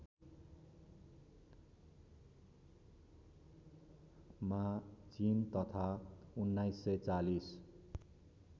मा चिन तथा १९४०